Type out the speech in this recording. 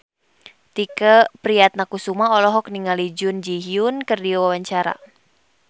Tike Priatnakusuma olohok ningali Jun Ji Hyun keur diwawancara